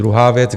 Druhá věc.